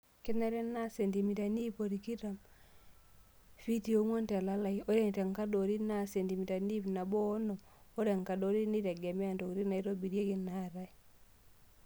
Kenare naa sentimitani iip otikitam (fitii ong'wan) telalai .Ore enkadori naa sentimitani iip nabo oonom(ore enkadori neitegemea ntokitin naitobirieki naatae).